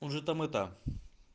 уже там это